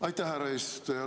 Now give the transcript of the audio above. Aitäh, härra eesistuja!